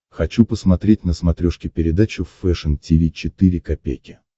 хочу посмотреть на смотрешке передачу фэшн ти ви четыре ка